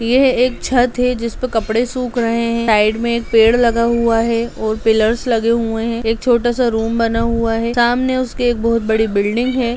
यह एक छत है जिसपे कपड़े सुख रहें हैं साइड में एक पेड़ लगा हुआ है और पिल्लर्स लगे हुए हैं एक छोटा सा रूम बना हुआ है सामने उसके एक बहुत बड़ी बिल्डिंग है।